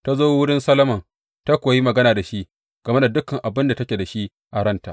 Ta zo wurin Solomon ta kuwa yi magana da shi game da dukan abin da take da shi a ranta.